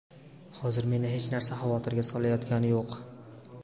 Hozir meni hech narsa xavotirga solayotgani yo‘q.